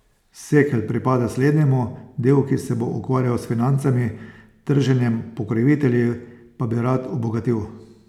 Sekelj pripada slednjemu, del, ki se bo ukvarjal s financami, trženjem, pokrovitelji, pa bi rad obogatil.